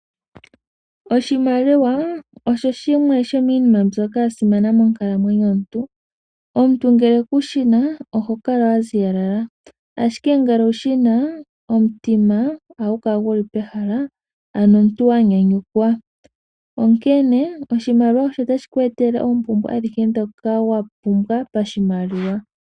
Oshimaliwa osho shimwe shomiinima mbyoka ya simana monkalamwenyo yomuntu. Omuntu ngele kushina oho kala wa ziyalala, ashike ngele owushina omutima ohagu kala gu li pehala. Ano omuntu wa nyanyukwa, onkene oshimaliwa otashi ku etele oompumbwe adhihe ndhoka wa pumbwa pashimaliwa.